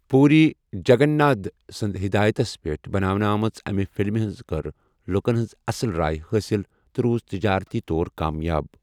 پوٗری جگنٛنَادھ سٕنٛدِ ہدایتس منٛز بناونہٕ آمژِ امہِ فِلمہِ کٔر لُکن ہٕنٛز اَصٕل راے حٲصِل تہٕ روُز تِجارتی طور کامیٲب ۔